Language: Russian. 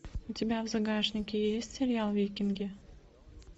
у тебя в загашнике есть сериал викинги